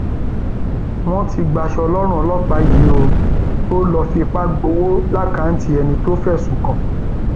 wọn ti gbaṣọ lọrùn ọlọpàá yìí o ò lọọ fipá gbowó lákàtúntì ẹni tó fẹsùn kàn